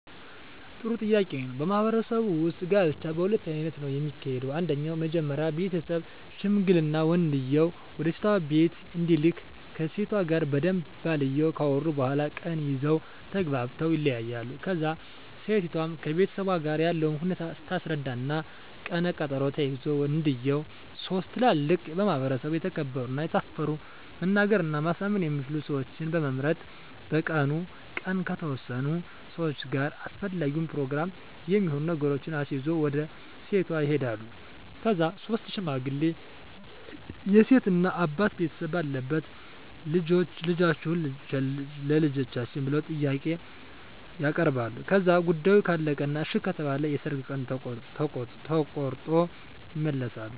ጥሩ ጥያቄ ነው በማህበረሰቡ ውጥ ጋብቻ በሁለት አይነት ነው ከሚካሄደው አንደኛው መጀመሪ ቤተሠብ ሽምግልና ወንድየው ወደሴቷ ቢቤት እንዲልክ ከሴቷ ጋር በደንብ ባልየው ካወሩ በኋላ ቀን ይዘው ተግባብተው ይለያያሉ ከዛ እሴቷም ከቤተሠቧ ጋር ያለውን ሁኔታ ታስረዳ እና ቀነ ቀጠሮ ተይዞ ወንድየው ሥስት ትላልቅ በማህበረሰቡ የተከበሩ እና የታፈሩ መናገር እና ማሳመን የሚችሉ ሠወችን በመምረጥ በቀኑ ቀን ከተወሠኑ ሠዋች ጋር አሰፈላጊውን የፕሮግራም የሚሆኑ ነገሮችን አሲዞ ወደ ሴቷ ይሄዳሉ ከዛ ሥስቱ ሽማግሌ የሴት እናት አባት ቤተሰብ ባለበት ልደፈጅዎትን ቸልጃችን ብለው ጥያቄ ያበርባሉ ከዛ ጉዳዮ ካለቀ እና እሺ ከተባለ የሠርግ ቀን ተቆሮጦ ይመለሣሉ